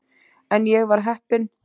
En ég var heppin.